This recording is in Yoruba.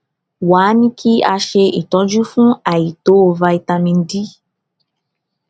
wá a ní kí a ṣe ìtọjú fún àìtó vitamin d